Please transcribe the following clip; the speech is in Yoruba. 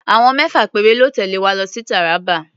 Àwọn mẹ́fà péré lọ́ tẹ̀lé wa lọ sí Taraba.